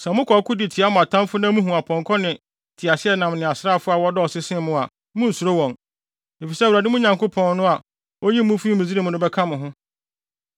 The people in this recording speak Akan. Sɛ mokɔ ɔko de tia mo atamfo na muhu apɔnkɔ ne nteaseɛnam ne asraafo a wɔdɔɔso sen mo a, munnsuro wɔn, efisɛ Awurade, mo Nyankopɔn no, a oyii mo fii Misraim no bɛka mo ho.